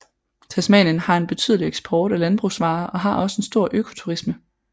Tasmanien har en betydelig eksport af landbrugsvarer og har også en stor økoturisme